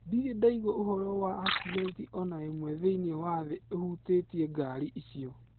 Ndirĩ ndaigua ũvoro wa akcidenti o na ĩmwe thĩinĩ wa thĩ ĩvutĩtie ngaari icio.